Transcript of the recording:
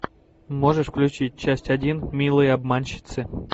можешь включить часть один милые обманщицы